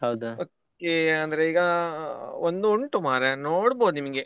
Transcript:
Okay ಅಂದ್ರೆ ಈಗ ಒಂದು ಉಂಟು ಮಾರ್ರೆ ನೋಡ್ಬೋದು ನಿಮ್ಗೆ.